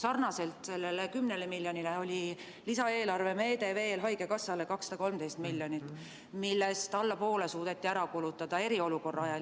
Sarnaselt selle 10 miljoniga anti lisaeelarvemeetmena ka haigekassale 213 miljonit eurot, millest eriolukorra ajal suudeti ära kulutada alla poole.